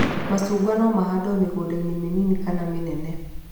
Macungwa no mahandwo mĩgũnda-inĩ mĩnini kana mĩnene